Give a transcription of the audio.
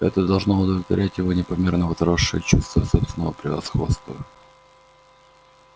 это должно удовлетворять его непомерно возросшее чувство собственного превосходства